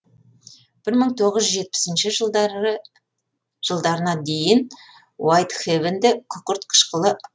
бір мың тоғыз жүз жетпісінші жылдарына дейін уайтхэвенде күкірт қышқылы ангидриттен өндірілді